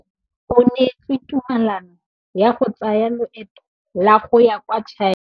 O neetswe tumalanô ya go tsaya loetô la go ya kwa China.